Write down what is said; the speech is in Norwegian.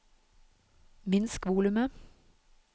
minsk volumet